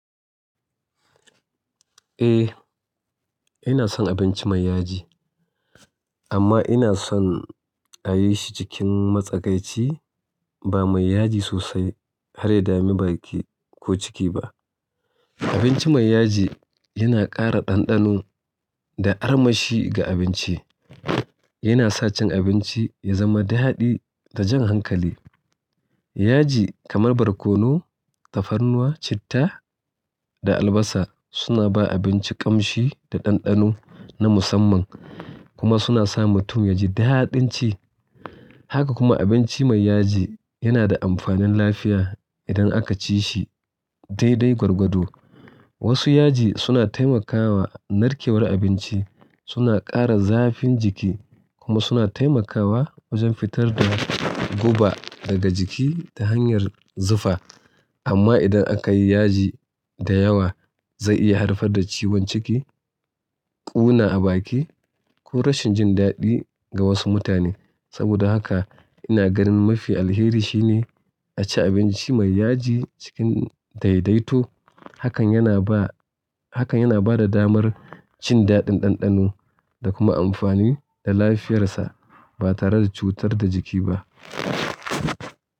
Eh, ina son abinci mai yaji, amma ina son a yi shi cikin matsakaici ba mai yaji sosai har ya dame baki ko ciki ba. Abinci mai yaji yana ƙara ɗanɗano da armashi ga abinci. Yana sa cin abinci ya zama daɗi da jan hankali. Yaji kamar barkono, tafarnuwa, citta da albasa suna ba abinci ƙamshi da ɗanɗano na musamman kuma suna sa mutum ya ji da haɗin ci. Haka kuma abinci mai yaji yana da amfanin lafiya idan aka ci shi daidai gwargwado. Wasu yaji suna taimakawa narkewar abinci, suna ƙara zafin jiki kuma suna taimakawa wajen fitar da guba daga jiki ta hanyar zufa. Amma idan aka yi yaji da yawa, zai iya haifar da ciwon ciki, ƙuna a baki ko rashin jin daɗi ga wasu mutane. Saboda haka ina ganin mafi alheri shine a ci abinci mai yaji cikin daidaito. Hakan yana ba, hakan yana ba da damar cin daɗin ɗanɗano da kuma amfani da lafiyarsa ba tare da cutar da jiki ba.